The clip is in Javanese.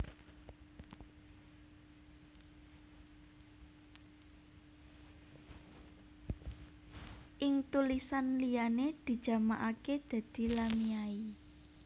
Ing tulisan liyané dijamakaké dadi lamiai